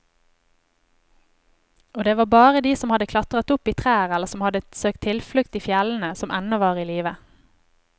Og det var bare de som hadde klatret opp i trær eller som hadde søkt tilflukt i fjellene, som ennå var i live.